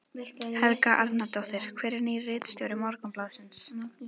Helga Arnardóttir: Hver er nýr ritstjóri Morgunblaðsins?